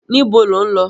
Níbo lọ̀ ń lọ?